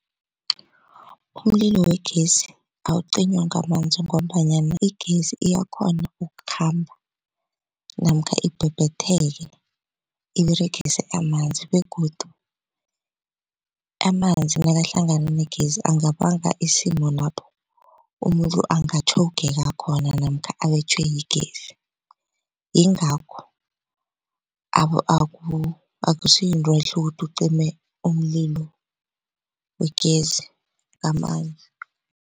Umlilo wegesi awucinywa ngamanzi ngombanyana igezi iyakhona ukukhamba namkha ibhebhetheke iberegise amanzi begodu amanzi nakahlangana negezi angabanga isimo lapho umuntu angatjhogeka khona namkha abetjhwe yigezi. Yingakho akusiyinto ehle ukuthi ucime umlilo wegezi ngamanzi.